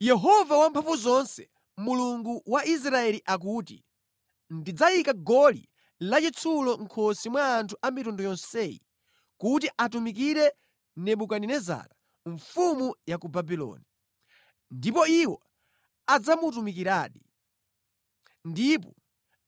Yehova Wamphamvuzonse, Mulungu wa Israeli akuti: Ndidzayika goli lachitsulo mʼkhosi mwa anthu a mitundu yonseyi kuti atumikire Nebukadinezara mfumu ya ku Babuloni, ndipo iwo adzamutumikiradi. Ndipo